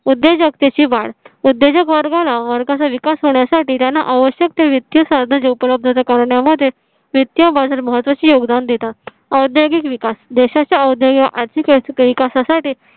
उद्योजगतेची वाढ उद्योजग वर्गाला वर्गाचा विकास होण्यासाठी त्यांना आवश्यकते वित्तीय साधनांची उपलब्धता करण्यामध्ये वित्तीय बाजार महत्वाचे योगदान देतात. औद्यागिक विकास देशाच्या औद्यागिक आर्थिक विकासासाठी